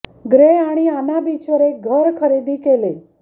grey आणि Anna beach वर एक घर खरेदी केले